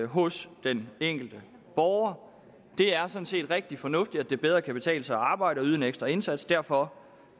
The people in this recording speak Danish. hos den enkelte borger det er sådan set rigtig fornuftigt at det bedre kan betale sig at arbejde og yde en ekstra indsats derfor